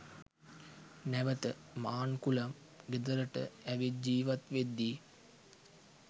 නැවත මාන්කුලම් ගෙදරට ඇවිත් ජීවත් වෙද්දී